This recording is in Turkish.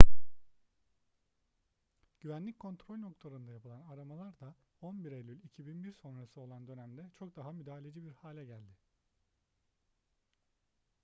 güvenlik kontrol noktalarında yapılan aramalar da 11 eylül 2001 sonrası olan dönemde çok daha müdahaleci bir hale geldi